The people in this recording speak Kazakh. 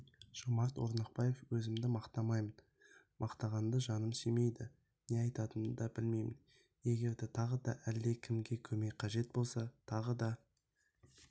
жомарт орнықбаев өзімді мақтамаймын мақтанғанды жаным сүймейді не айтатынымды да білмеймін егер тағы да әлде кімге көмек қажет болса тағы да